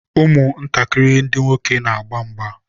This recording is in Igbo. ụmụ ntakịrị ndị nwoke na-agba mgba.